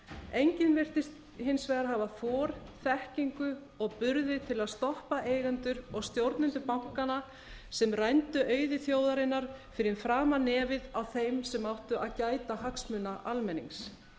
enginn virtist hins vegar hafa þor þekkingu og burði til að stoppa eigendur og stjórnendur bankanna sem rændu auði þjóðarinnar fyrir framan nefið á þeim sem áttu að gæta hagsmuna almennings